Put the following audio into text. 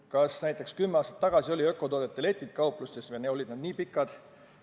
Kas näiteks kümme aastat tagasi olid ökotoodete letid kauplustes nii pikad?